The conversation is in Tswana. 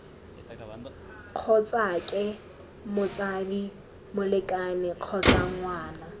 kgotsake motsadi molekane kgotsa ngwana